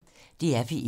DR P1